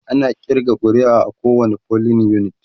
ana ƙirga ƙuri'a a kowani polling unit